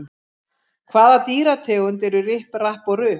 Hvaða dýrategund eru Ripp, Rapp og Rupp?